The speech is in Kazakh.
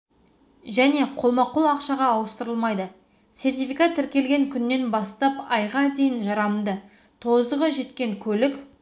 және қолма қол ақшаға ауыстырылмайды сертификат тіркелген күннен бастап айға дейін жарамды тозығы жеткен көлік